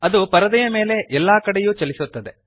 ಅದು ಪರದೆಯ ಮೇಲೆ ಎಲ್ಲಾ ಕಡೆಯೂ ಚಲಿಸುತ್ತದೆ